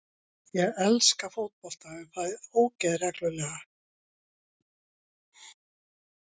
Ég elska fótbolta en fæ ógeð reglulega.